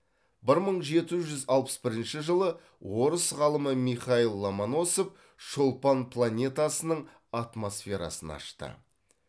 бір мың жеті жүз алпыс бірінші жылы орыс ғалымы михаил ломоносов шолпан планетасының атмосферасын ашты